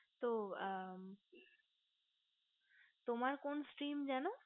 তো তোমার কোন sim যেন